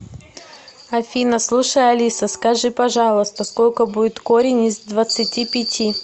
афина слушай алиса скажи пожалуйста сколько будет корень из двадцати пяти